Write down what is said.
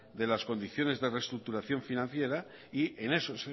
de las condiciones de reestructuración financiera y en eso